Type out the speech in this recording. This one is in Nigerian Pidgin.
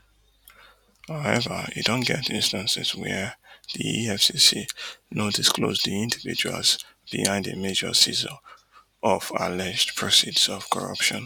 however e don get instances wia di efcc no disclose di individuals behind a major seizure of alleged proceeds of corruption